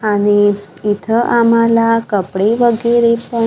आणि इथं आम्हाला कपडे वगैरे पण--